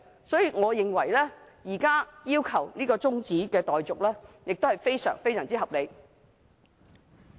所以，我認為現時要求中止待續，非常合理。